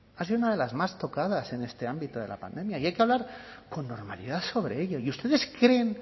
ha sido una de las más tocadas en este ámbito de la pandemia y hay que hablar con normalidad sobre ello y ustedes creen